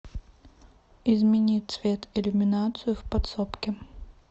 измени цвет иллюминацию в подсобке